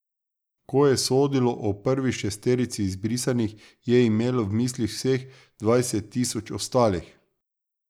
Ko je sodilo o prvi šesterici izbrisanih, je imelo v mislih vseh dvajset tisoč ostalih.